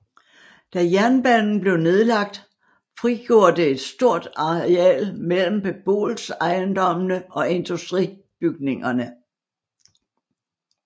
Da jernbanen blev nedlagt frigjorde det et stort areal mellem beboelsesejendommene og industribygningerne